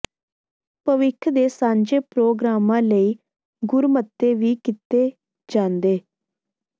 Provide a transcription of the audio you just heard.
ਭਵਿੱਖ ਦੇ ਸਾਂਝੇ ਪ੍ਰੋਗਰਾਮਾਂ ਲਈ ਗੁਰਮਤੇ ਵੀ ਕੀਤੇ ਜਾਂਦੇ